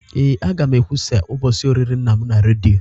Ee, a ga m ekwusa ụbọchị olili nna m na redio